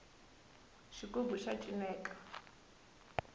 xigubu xa cineka